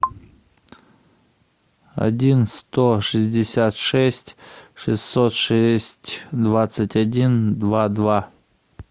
один сто шестьдесят шесть шестьсот шесть двадцать один два два